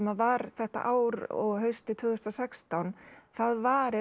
var þetta ár og haustið tvö þúsund og sextán það varir